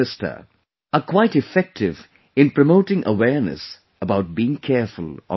' are quite effective in promoting awareness about being careful on the roads